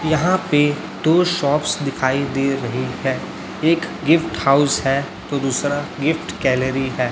यहां पे दो शॉप्स दिखाई दे रहे हैं एक गिफ्ट हाऊस है तो दूसरा गिफ्ट गैलरी है।